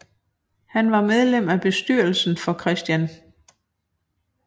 Han var medlem af bestyrelsen for Chr